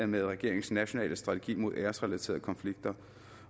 med regeringens nationale strategi mod æresrelaterede konflikter